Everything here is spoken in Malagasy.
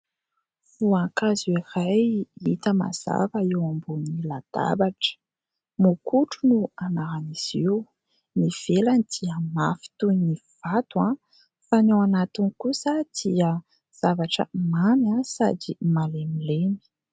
Voankazo iray hita mazava eo ambony latabatra, mokotry no anaran'izy io : ny ivelany dia mafy toy ny vato, fa ny ao anatiny kosa dia zavatra mamy sady malemilemy.